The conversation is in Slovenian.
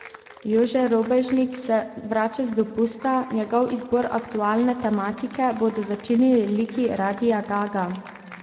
Jože Robežnik se vrača z dopusta, njegov izbor aktualne tematike bodo začinili liki Radia Ga Ga.